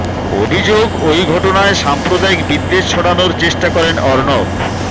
অভিযোগ ওই ঘটনায় সাম্প্রদায়িক বিদ্বেষ ছড়ানোর চেষ্টা করেন অর্ণব